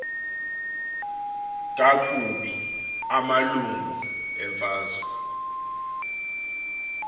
kakubi amalungu emfazwe